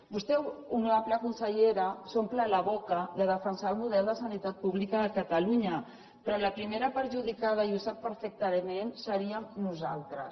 vostè honorable consellera s’omple la boca de defensar el model de sanitat pública de catalunya però els primers perjudicats i ho sap perfectament seríem nosaltres